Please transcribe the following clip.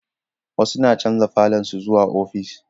Wasu na chanja falon su zuwa ofis